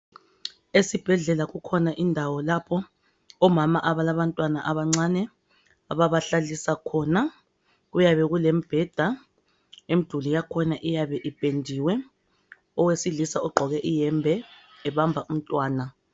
Esibhedlela kukhona indawo lapho omama abalabantwana abancane ababahlalisa khona kuyabe kulembheda lemduli yakhona iyabe ipendiwe owesilisa ogqoke iyembe ebamba umntwana